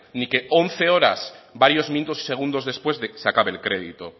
ni que once horas varios minutos y segundos después de que se acabe el crédito